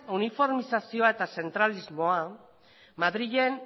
uniformizazioa eta zentralismoa madrilen